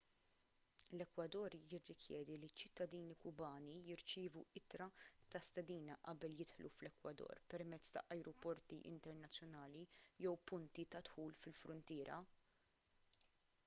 l-ekwador jirrikjedi li ċ-ċittadini kubani jirċievu ittra ta' stedina qabel jidħlu fl-ekwador permezz ta' ajruporti internazzjonali jew punti ta' dħul fil-fruntiera